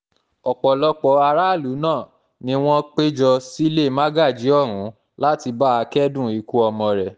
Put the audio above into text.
ọ̀pọ̀lọpọ̀ aráàlú náà ni wọ́n pé jọ sílé mágájí ọ̀hún láti bá a kẹ́dùn ikú ọmọ rẹ̀